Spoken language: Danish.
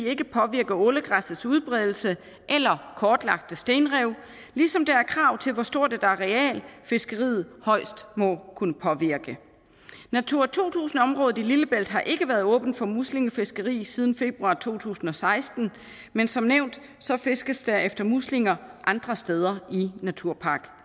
ikke påvirke ålegræssets udbredelse eller kortlagte stenrev ligesom der er krav til hvor stort et areal fiskeriet højst må kunne påvirke natura to tusind området i lillebælt har ikke været åbent for muslingefiskeri siden februar to tusind og seksten men som nævnt fiskes der efter muslinger andre steder i naturpark